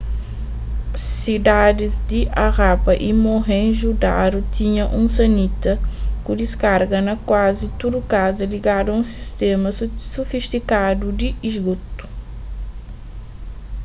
sidadis di harappa y mohenjo-daro tinha un sanita ku diskarga na kuazi tudu kaza ligadu a un sistéma sufistikadu di isgotu